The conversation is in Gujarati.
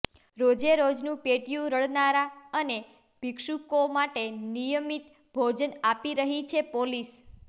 રોજેરોજનું પેટીયું રળનારા અને ભિક્ષુકો માટે નિયમિત ભોજન આપી રહી છે પોલીસ